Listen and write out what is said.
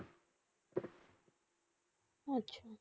আচ্ছা